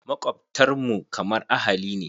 Makwabtan mu kamar ahali ne.